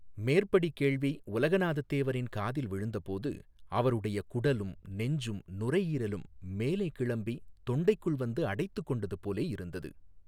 மேற்படி கேள்வி உலகநாதத் தேவரின் காதில் விழுந்தபோது அவருடைய குடலும் நெஞ்சும் நுரைஈரலும் மேலே கிளம்பித் தொண்டைக்குள் வந்து அடைத்துக் கொண்டது போலேயிருந்தது.